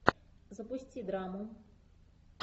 запусти драму